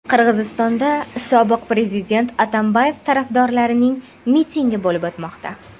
Qirg‘izistonda sobiq prezident Atambayev tarafdorlarining mitingi bo‘lib o‘tmoqda.